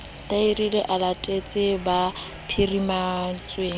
larile a latetse ba phirimetsweng